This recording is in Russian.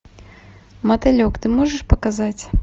мотылек ты можешь показать